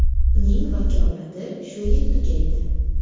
Uning vakolati shu yil tugaydi.